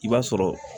I b'a sɔrɔ